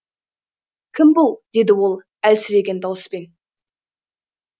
кім бұл деді ол әлсіреген дауыспен